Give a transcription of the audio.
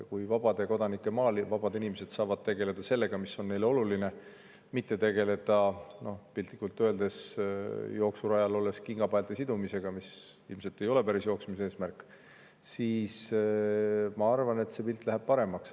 Kui vabade kodanike maal vabad inimesed saavad tegeleda sellega, mis on neile oluline, ja nad ei pea, piltlikult öeldes, tegelema jooksurajal olles kingapaelte sidumisega, mis ilmselt ei ole jooksmise eesmärk, siis ma arvan, et see pilt läheb paremaks.